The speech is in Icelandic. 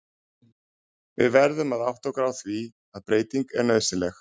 Við verðum að átta okkur á því að breyting er nauðsynleg.